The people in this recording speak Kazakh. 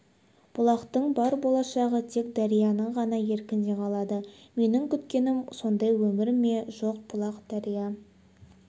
бұлақтың бар болашағы тек дарияның ғана еркінде қалады менің күткенім сондай өмір ме жоқ бұлақ дария